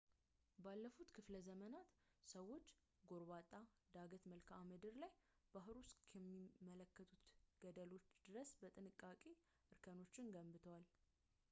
ባለፉት ክፍለዘመናት ሰዎች ጎርባጣ ዳገት መልክዓምድር ላይ ባህሩን እስከሚመለከቱት ገደሎች ድረስ በጥንቃቄ እርከኖችን ገንብተዋል